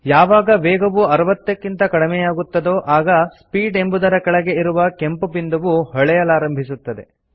ಯಾವಾಗ ವೇಗವು 60 ಕ್ಕಿಂತ ಕಡಿಮೆಯಾಗುತ್ತದೋ ಆಗ ಸ್ಪೀಡ್ ಎಂಬುದರ ಕೆಳಗೆ ಇರುವ ಕೆಂಪು ಬಿಂದುವು ಹೊಳೆಯಲಾರಂಭಿಸುತ್ತದೆ